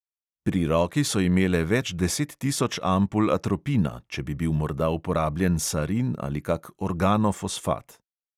Pri roki so imele več deset tisoč ampul atropina, če bi bil morda uporabljen sarin ali kak organofosfat.